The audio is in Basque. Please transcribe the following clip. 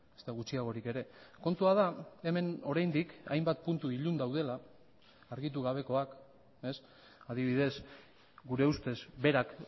ezta gutxiagorik ere kontua da hemen oraindik hainbat puntu ilun daudela argitu gabekoak adibidez gure ustez berak